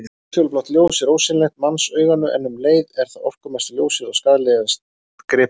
Útfjólublátt ljós er ósýnilegt mannsauganu en um leið er það orkumesta ljósið og skaðlegast gripum.